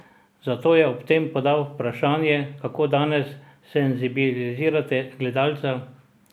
Zato je ob tem podal vprašanje, kako danes senzibilizirati gledalca?